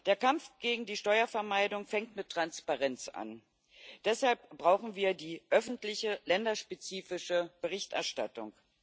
Der Kampf gegen die Steuervermeidung fängt mit Transparenz an, deshalb brauchen wir die öffentliche länderspezifische Berichterstattung.